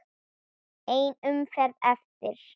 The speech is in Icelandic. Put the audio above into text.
Ein umferð eftir.